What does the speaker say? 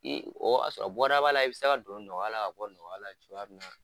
O y'a sɔrɔ bɔda b'a la i bɛ se ka don nɔgɔya la ka bɔ nɔgɔya la cogoya min na